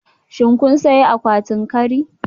Shin kun sayi akwatin kari?